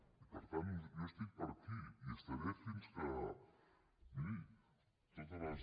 i per tant jo estic per aquí hi estaré fins que miri totes les